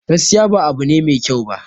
Gaskiya ba abu ne mai kyau ba